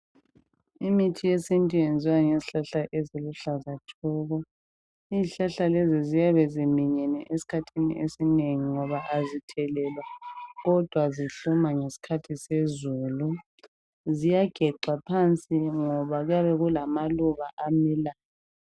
imithi yesintu yenziw ngezihlahla eziluhlaza thoko izihlahla lezi ziyabe ziminyene esikhathini esinengi ngoba azithelelwa kodwa zihluma ngesikhathi sezulu ziyagecwa phansi ngoba kuyabe kulamaluba amilayo